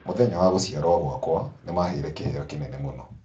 Mũthenya wa gũciarũo gwakwa, nĩ maaheire kĩheo kĩnene mũno.